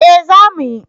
Eh za mu yi